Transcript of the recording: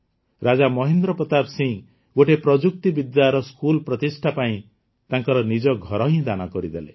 ରାଜା ମହେନ୍ଦ୍ର ପ୍ରତାପ ସିଂହ ଗୋଟିଏ ପ୍ରଯୁକ୍ତିବିଦ୍ୟାର ସ୍କୁଲ ପ୍ରତିଷ୍ଠା ପାଇଁ ତ ନିଜର ଘର ହିଁ ଦାନ କରିଦେଲେ